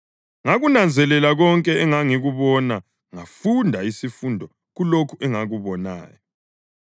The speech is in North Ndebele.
Ngakunanzelela konke engangikubona ngafunda isifundo kulokho engakubonayo: